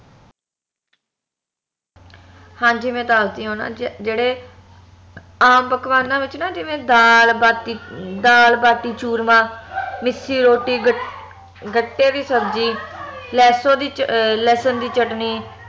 ਹਾਂਜੀ ਮੈਂ ਦੱਸਦੀ ਆ ਓ ਨਾ ਜਿਹੜੇ ਆਮ ਪਕਵਾਨਾਂ ਵਿਚ ਨਾ ਜਿਵੇ ਦਾਲ ਬਾਟੀ ਦਾਲ ਬਾਟੀ ਚੂਰਮਾ ਮਿੱਸੀ ਰੋਟੀ ਗ ਗੱਟੇ ਦੀ ਸਬਜ਼ੀ ਲਹਸੁ ਲਸਣ ਦੀ ਚਟਨੀ